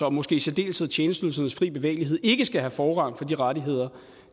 og måske i særdeleshed tjenesteydelsernes fri bevægelighed ikke skal have forrang for de rettigheder